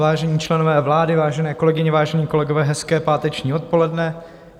Vážení členové vlády, vážené kolegyně, vážení kolegové, hezké páteční odpoledne.